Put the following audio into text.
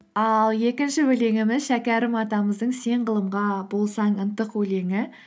ал екінші өлеңіміз шәкәрім атамыздың сен ғылымға болсаң ынтық өлеңі